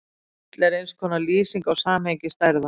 Fall er eins konar lýsing á samhengi stærða.